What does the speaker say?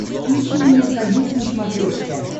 включи мне союз на смотрешке